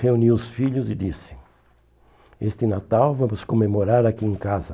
Reuni os filhos e disse, este Natal vamos comemorar aqui em casa.